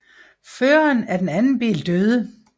Føreren af den anden bil døde